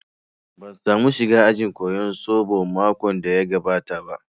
Ban samu shiga ajin koyan zobo makon da ya gabata ba